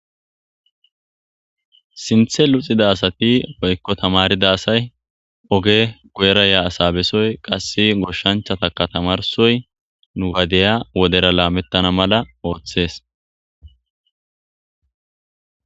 Sinthe luxida asati woykko tammarida asay oge guyera yiya asa besoy qase goshahanchataka tammarsoy nu ha diya wodera laametana mala oothes.